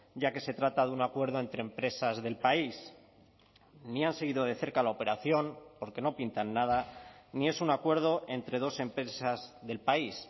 ya que se trata de un acuerdo entre empresas del país ni han seguido de cerca la operación porque no pintan nada ni es un acuerdo entre dos empresas del país